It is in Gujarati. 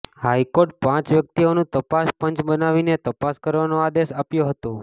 હાઈકોર્ટે પાંચ વ્યક્તિઓનુ તપાસ પંચ બનાવીને તપાસ કરવાનો આદેશ આપ્યો હતો